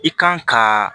I kan ka